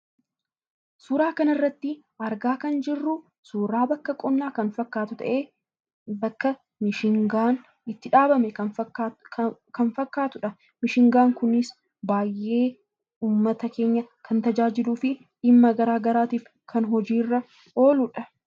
Suuraa kana irratti argaa kan jirru suuraa bakka qonnaa fakkaatu ta'ee, bakka mishingaan itti dhaabame kan fakkaatudha. Mishingaan kunis uummata keenya baay'ee kan tajaajiluu fi dhimma garaa garaatiif kan hojii irra ooludha.